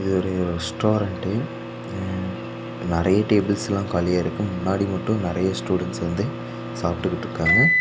இது ஒரு ரெஸ்டாரட்ண்டு அ நறைய டேபிள்ஸ்லா காலியா இருக்கு முன்னாடி மட்டு நறய ஸ்டூடண்ட்ஸ் வந்து சாப்டுகிட்ருக்காங்க.